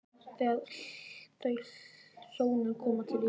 Þegar þau hjónin koma til Íslands